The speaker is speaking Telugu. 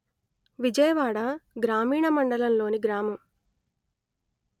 విజయవాడ గ్రామీణ మండలం లోని గ్రామం